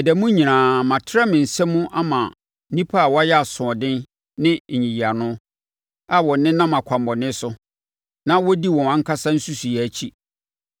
Ɛda mu nyinaa, matrɛ me nsa mu ama nnipa a wɔyɛ asoɔden ne nyiyiano, a wɔnenam akwammɔne so, na wɔdi wɔn ankasa nsusuiɛ akyi.